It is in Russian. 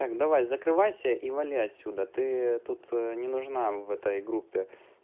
так давай закрывайся и вали отсюда ты тут не нужна в этой группе